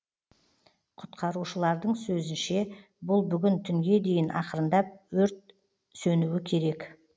құтқарушылардың сөзінше бұл бүгін түнге дейін ақырындап өрт уже сөнуі керек